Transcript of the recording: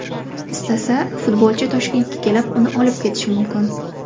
Istasa, futbolchi Toshkentga kelib, uni olib ketishi mumkin.